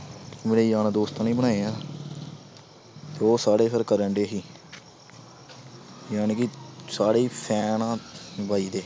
ਮੇਰੇ ਯਾਰ ਦੋਸਤਾਂ ਨੇ ਹੀ ਬਣਾਏ ਆ ਤੇ ਉਹ ਸਾਰੇ ਫਿਰ ਕਰਨਡੇ ਸੀ ਜਾਣੀ ਕਿ ਸਾਰੇ ਹੀ fan ਆਂ ਬਾਈ ਦੇ